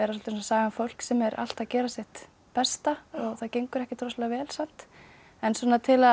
saga um fólk sem er allt að gera sitt besta og það gengur ekkert rosalega vel samt en til að